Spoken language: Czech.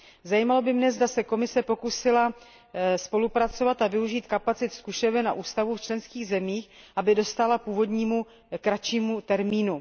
Zajímalo by mne, zda se Komise pokusila spolupracovat a využít kapacit zkušeben a ústavů v členských zemích, aby dostála původnímu kratšímu termínu.